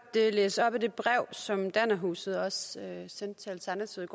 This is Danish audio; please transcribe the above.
læse op af det brev som dannerhuset også sendte til alternativet